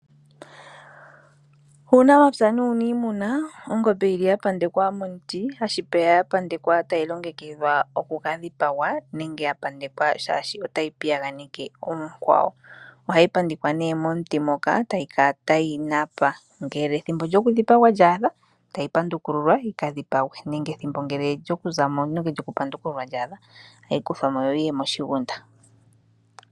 Uunamapya nuuniimuna, ongombe yili yapandekwa momuti tashipeya yapandekwa tayi longekidhwa oku ka dhipagwa nenge ya pandekwa shaashi otayi piyaganeke oonkwawo. Ohayi pandekwa ne momuti moka etayi kala tayi napa ngele ethimbo lyokudhipagwa lyaadha etayi pandukululwa yika dhipagwe nenge ngele ethimbo lyokuzamo nenge lyoku pandukululwa lyaadha ohayi kuthwa mo yoyi ye moshiguda.